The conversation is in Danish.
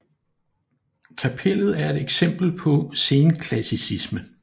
Kapellet er et eksempel på senklassicisme